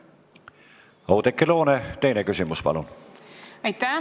Oudekki Loone, teine küsimus, palun!